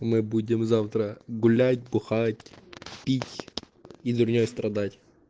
мы будем завтра гулять бухать пить и дурней страдать